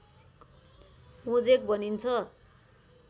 mosaic भनिन्छ